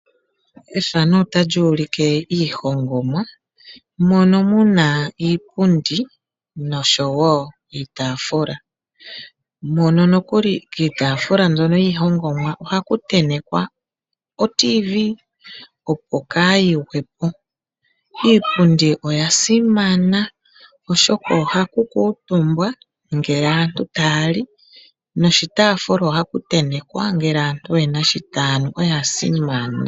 Iipundi niitaafula hayi hongwa miiti. Koshitafula osho tuu shika ohaku vulu oku tentekwa oradio yomuzizimbe kaa yigwepo. Iipundi oya simana oshoka ohaku kuutumbwa ngele aantu tayali nokoshitaafula ohaku tentekwa iikunwa.